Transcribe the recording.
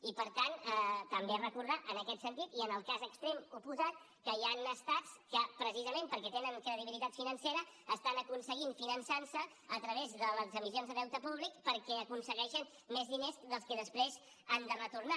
i per tant també recordar en aquest sentit i en el cas extrem oposat que hi han estats que precisament perquè tenen credibilitat financera estan aconseguint finançar se a través de les emissions de deute públic perquè aconsegueixen més diners dels que després han de retornar